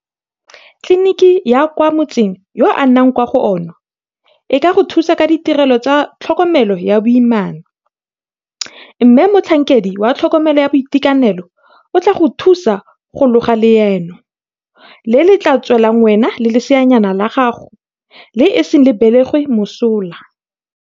Tleliniki ya kwa motseng yo o nnang kwa go ona e ka go thusa ka ditirelo tsa tlhokomelo ya boimana mme motlhankedi wa tlhokomelo ya boitekanelo o tla go thusa go loga leano le le tla tswelang wena le leseanyana la gago le iseng le belegwe mosola.